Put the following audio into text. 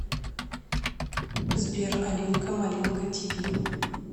сбер алинка малинка ти ви